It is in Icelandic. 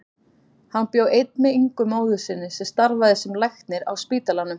Hann bjó einn með Ingu móður sinni sem starfaði sem læknir á spítalanum.